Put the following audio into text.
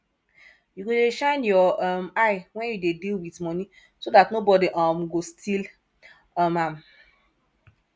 you go dey shine your um eye wen you dey deal with money so dat nobody um got steal um am